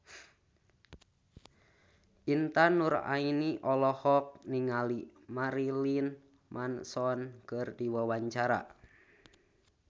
Intan Nuraini olohok ningali Marilyn Manson keur diwawancara